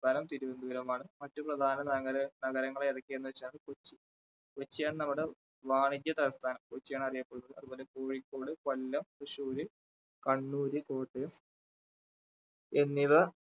സംസ്ഥാനം തിരുവന്തപുരമാണ്. മറ്റു പ്രധാന നഗര~നഗരങ്ങള് ഏതൊക്കെയെന്ന് വച്ചാല് കൊച്ചി, കൊച്ചിയാണ് നമ്മുടെ വാണിജ്യ തലസ്ഥാനം കൊച്ചിയാണ് അറിയപ്പെടുന്നത് അതുപോലെ കോഴിക്കോട്, കൊല്ലം, തൃശ്ശൂര്, കണ്ണൂര്, കോട്ടയം എന്നിവ